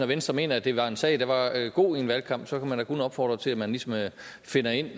venstre mener at det var en sag der var god i en valgkamp så kan man da kun opfordre til at man ligesom finder ind